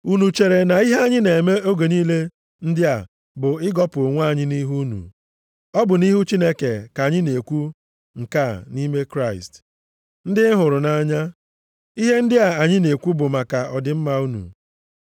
Unu chere na ihe anyị na-eme oge niile ndị a bụ ịgọpụ onwe anyị nʼihu unu? Ọ bụ nʼihu Chineke ka anyị na-ekwu nke a nʼime Kraịst. Ndị m hụrụ nʼanya, ihe ndị a anyị na-ekwu bụ maka ọdịmma unu.